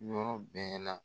Yɔrɔ bɛɛ la.